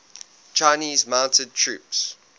chinese mounted troops